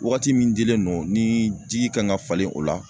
Wagati min dilen don ni ji kan ka falen o la